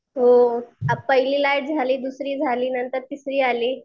हो पहिली लाट झाली, दुसरी झाली नंतर तिसरी आली.